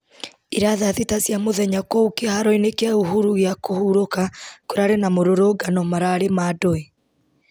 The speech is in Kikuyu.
ira thaa thita cia mũthenya kũu kĩharo-inĩ kĩa uhuru gĩa kũhurũka kũrarĩ na mũrũrũngano mararĩ ma ndũĩ